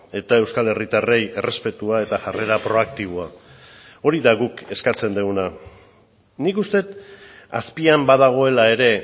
eta euskal herritarrei errespetua eta jarrera proaktiboa hori da guk eskatzen duguna nik uste dut azpian badagoela ere